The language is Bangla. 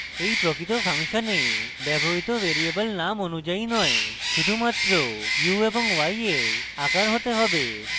এই প্রকৃত ফাংশনে ব্যবহৃত ভ্যারিয়েবল names অনুযায়ী নয় শুধুমাত্র u এবং y এর আকারে হতে হবে